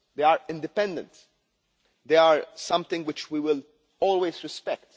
ongoing. They are independent and something which we will always